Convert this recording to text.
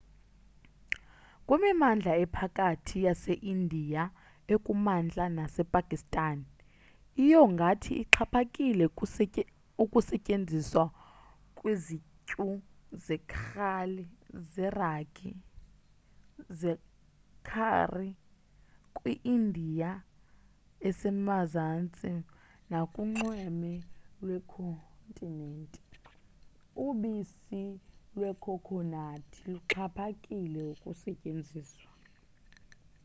kwimimandla ephakhathi yase india ekumantla nase pakistan iyogathi ixhaphakile ukusetyenziswa kwizityu zekhari kwi india esemazantsi nakunxweme lwekhontinent ubisi lwekhokhonathi luxhaphakile ukusetyenziswa